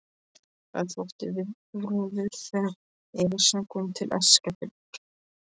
Það þótti viðburður þegar Esjan kom til Eskifjarðar.